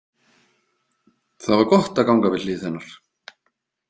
Það var gott að ganga við hlið hennar.